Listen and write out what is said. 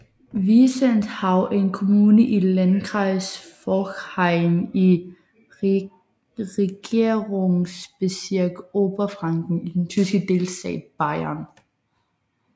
Wiesenthau er en kommune i Landkreis Forchheim i Regierungsbezirk Oberfranken i den tyske delstat Bayern